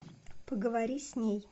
поговори с ней